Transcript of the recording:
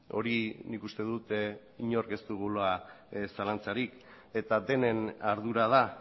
hori nik uste dut inork ez dugula zalantzarik eta denen ardura da